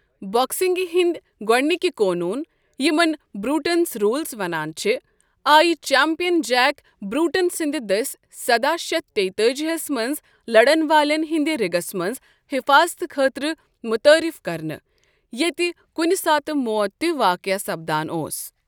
بو٘کسِنٛگہِ ہٕنٛدِ گۄڈنِکہِ قونون، یمن بروٹنز روٗلز ونٛان چھِ، آیہِ چیمپیَن جیک بروٹن سٕندِ دٔسۍ سداہ شیتھ تیتأجی ہس منٛز لڈن والین ہٕنٛدِ رِگس منٛز حفاظتہٕ خٲطرٕ متعارف کرنہٕ ، ییٚتہِ کُنہ ساتہٕ موت تہِ واقع سپدان اوس ۔